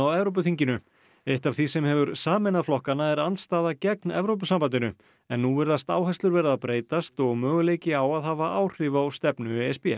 Evrópuþinginu eitt af því sem hefur sameinað flokkana er andstaða gegn Evrópusambandinu en nú virðast áherslur vera að breytast og möguleiki á að hafa áhrif á stefnu e s b